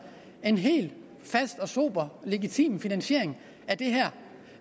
en helt fast sober og legitim finansiering